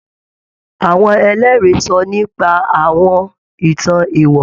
Àwọn Ẹlẹ́rìí sọ nípa àwọn ìtàn èèwọ̀